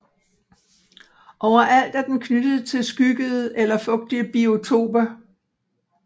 Overalt er den knyttet til skyggede eller fugtige biotoper